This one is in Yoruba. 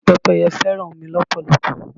Pẹ́pẹ́yẹ fẹ́ràn omi lọ́pọ̀lọpọ̀.